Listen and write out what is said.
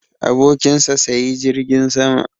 Abokin sa sayi jirgin sama